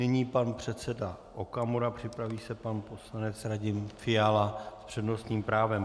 Nyní pan předseda Okamura, připraví se pan poslanec Radim Fiala s přednostním právem.